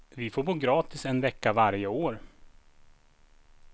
Vi får bo gratis en vecka varje år.